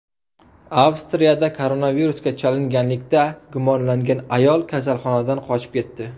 Avstriyada koronavirusga chalinganlikda gumonlangan ayol kasalxonadan qochib ketdi.